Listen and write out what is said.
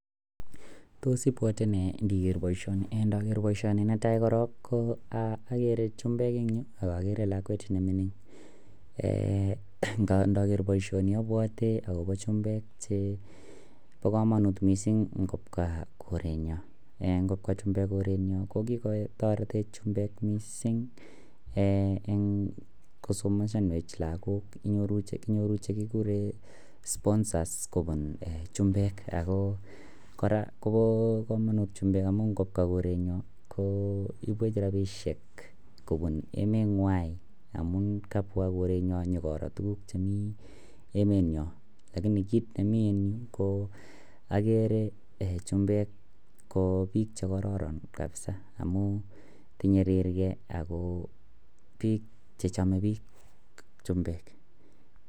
Tos ibwote nee ndiger boisioni en ndaker baishoni netai korong ko agere chumbek en ireyu agere lakwet nemingin naker baishoni abwati akoba chumbek Che bakamanut mising kobwa korenyon en kobwa chumbek korenyon kokikotaretech chumbek mising en kosomeshanwech lagok inyoru chekikuren sponsers en chumbek ako kora Koba kamanut chumbek amun kobwa korenyon koibwech rabishek kobun emet ngain amun kabwa korenyon kobara tuguk chemi emeniyon lakini kit nemi en Yu ko agere chumbek KO bik chekororon kabisa amun inyirgei ako bik chechame bik chumbek